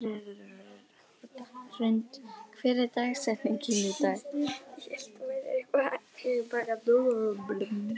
Hrund, hver er dagsetningin í dag?